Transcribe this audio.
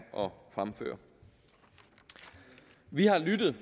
at fremføre vi har lyttet